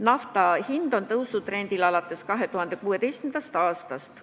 Nafta hind on tõusutrendil alates 2016. aastast.